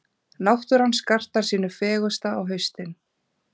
Náttúran skartar sínu fegursta á haustin.